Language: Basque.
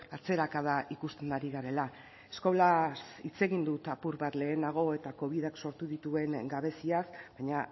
atzerakada ikusten ari garela eskolaz hitz egin dut apur bat lehenago eta covidak sortu dituen gabeziaz baina